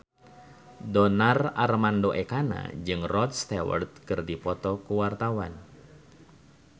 Donar Armando Ekana jeung Rod Stewart keur dipoto ku wartawan